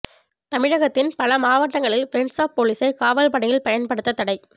தமிழகத்தின் பல மாவட்டங்களில் ஃப்ரண்ட்ஸ் ஆஃப் போலீசை காவல் பணியில் பயன்படுத்த தடை